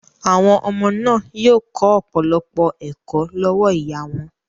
Àwọn ọmọ náà yóò kọ́ ọ̀pọ̀lọpọ̀ ẹ̀kọ́ lọ́wọ́ ìyá wọn.